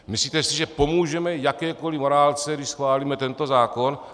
Myslíte si, že pomůžeme jakékoliv morálce, když schválíme tento zákon?